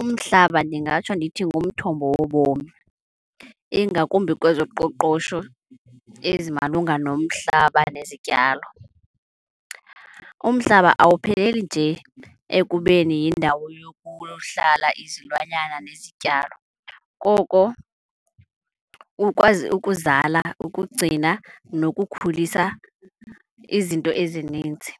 Umhlaba ndingatsho ndithi ngumthombo wobomi ingakumbi kwezoqoqosho ezimalunga nomhlaba nezityalo. Umhlaba awupheleli nje ekubeni yindawo yohlala izilwanyana nezityalo, koko ukwazi ukuzala, ukugcina nokukhulisa izinto ezininzi.